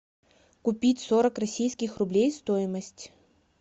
купить сорок российских рублей стоимость